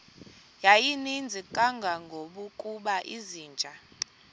yayininzi kangangokuba izinja